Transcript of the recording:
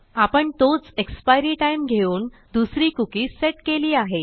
आपण तोच एक्सपायरी timeघेऊन दुसरी कुकी सेट केली आहे